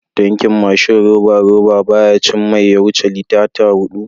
Tankin mashin roba-roba, baya cin mai ya wuce litata huɗu.